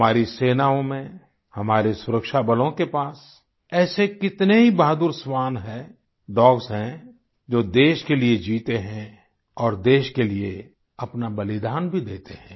हमारी सेनाओं में हमारे सुरक्षाबलों के पास ऐसे कितने ही बहादुर श्वान है डॉग्स हैं जो देश के लिये जीते हैं और देश के लिये अपना बलिदान भी देते हैं